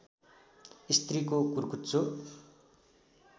स्त्रीको कुर्कुच्चो